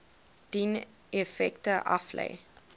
dien effekte aflê